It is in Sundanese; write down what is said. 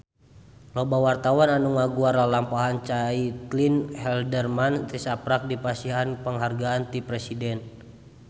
Loba wartawan anu ngaguar lalampahan Caitlin Halderman tisaprak dipasihan panghargaan ti Presiden